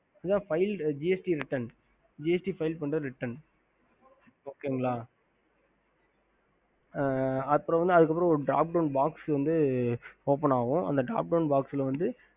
ஹம்